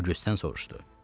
Odjusten soruşdu.